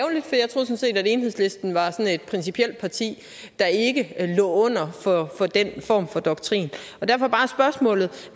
enhedslisten var sådan et principielt parti der ikke lå under for den form for doktrin og derfor bare spørgsmålet